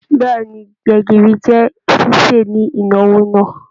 Bẹẹni, gbẹ̀gìrì jẹ ṣiṣe ni ìnáwó náà.